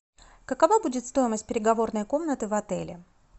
какова будет стоимость переговорной комнаты в отеле